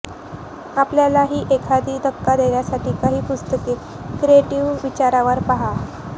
आपल्याला एखादी धक्का देण्यासाठी काही पुस्तके क्रिएटिव्ह विचारवर पहा